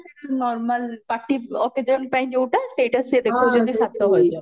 ସେଇଟା normal party occasion ପାଇଁ ଯଉଟା ସେଇଟା ସେ ଦେଖଉଚନ୍ତି ସାତ ହଜାର